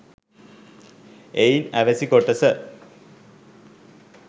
එයින් අවැසි කොටස